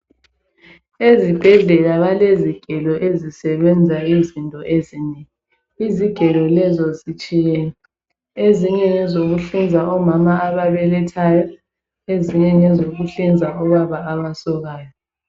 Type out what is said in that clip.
Ezibhedlela balezigelo ezisebenza into ezinengi. Izigelo lezo zitshiyene, ezinye ngezokuhlinza omama ababelethayo ezinye ngezokuhlinza obaba abasokwayo.